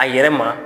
A yɛrɛ ma